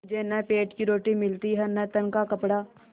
मुझे न पेट की रोटी मिलती है न तन का कपड़ा